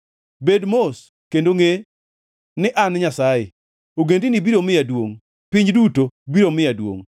“Bed mos, kendo ngʼe ni an Nyasaye; ogendini biro miya duongʼ; piny duto biro miya duongʼ.”